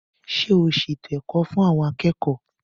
Ṣé o ṣètò ẹ̀kọ́ fún àwọn akẹ́kọ̀ọ́?